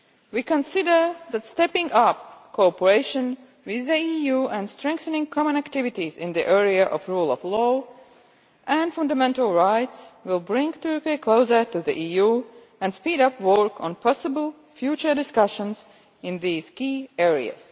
We consider that stepping up cooperation with the EU and strengthening common activities in the area of the rule of law and fundamental rights will bring Turkey closer to the EU and speed up work on possible future discussions in these key areas.